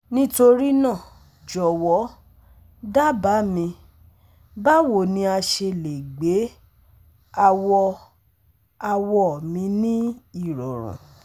nitorina jọwọ daba mi bawo ni a ṣe le gbe awọ-awọ mi ni irọrun